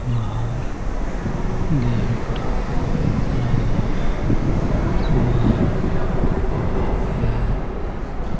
बाहर गेट लगा हुआ है ।